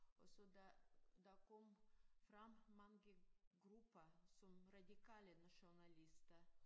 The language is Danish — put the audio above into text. Og så der der kom frem mange grupper som radikale nationalister